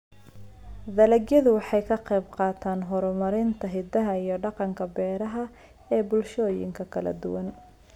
Dalagyadu waxay ka qaybqaataan horumarinta hiddaha iyo dhaqanka beeraha ee bulshooyinka kala duwan.